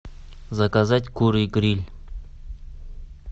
заказать куры гриль